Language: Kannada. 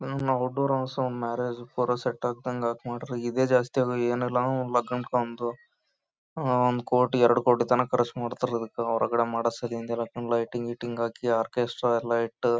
ಔಟ್ಡೋರ್ ಮ್ಯಾರೇಜ್ ಫಾರ್ ಸೆಟ್ ಹಾಕ್ದಂಗ್ ಸೆಟ್ ಮಾಡ್ರಿ ಇದೆ ಜಾಸ್ತಿ ಏನಿಲ್ಲ ಅಂದ್ರೆ ಲಗ್ನ ಒಂದು ಒಂದ್ ಕೋಟಿ ಎರಡ್ ಕೋಟಿ ತನಕ ಖರ್ಚ್ ಮಾಡ್ತಾರಾ ಅದ್ಕಕ ಹೊರಗಡೆ ಮಾಡೋದ್ ಸಲಿಂದ ಎಲ್ಲ ಫುಲ್ ಲೈಟಿಂಗ್ಸ್ ಎಲ್ಲಹಾಕಿ ಆರ್ಕೆಸ್ಟ್ರಾ ಎಲ್ಲ ಇಟ್ಟು--